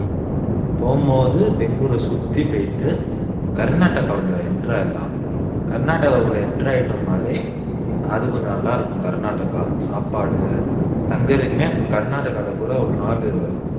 போகும்போது பெங்களூர சுத்தி போயிட்டு கர்நாடகாவில் enter ஆயிடலாம் கர்நாடகாக்குள்ள enter ஆயிட்டோம்னாலே அது கொஞ்சம் நல்லா இருக்கும் கர்நாடகா சாப்பாடு தங்கறதுக்குமே கர்நாடகாவில கூட ஒரு நாள்